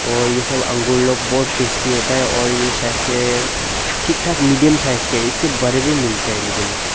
और ये सब अंगूर लोग बहुत टेस्टी होता है और यह सच है ठीक ठाक मीडियम साइज का इससे बड़े भी मिलता हैं लेकिन--